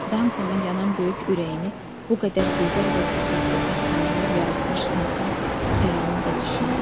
Dankonun yanan böyük ürəyini bu qədər gözəl və qüvvətli əfsanələr yaratmış insan xəyalını da düşündüm.